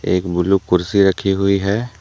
एक ब्लू कुर्सी रखी हुई है।